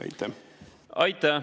Aitäh!